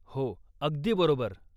हो, अगदी बरोबर !